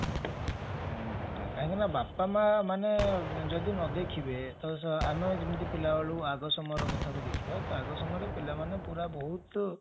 କାହିଁକି ନା ବାପା ମା ମାନେ ଯଦି ନ ଦେଖିବେ ତ ଆମେ ଯେମିତି ପିଲାବେଳୁ ଆଗ ସମୟର କଥା କୁ ଦେଖିବା ତ ଆଗ ସମୟରେ ପିଲାମାନେ ବହୁତ